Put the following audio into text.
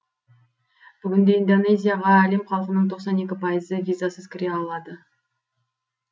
бүгінде индонезияға әлем халқының тоқсан екі пайызы визасыз кіре алады